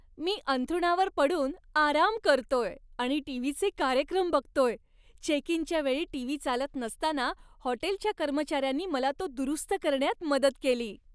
मी अंथरुणावर पडून आराम करतोय आणि टीव्हीचे कार्यक्रम बघतोय. चेक इनच्या वेळी टीव्ही चालत नसताना हॉटेलच्या कर्मचाऱ्यांनी मला तो दुरुस्त करण्यात मदत केली.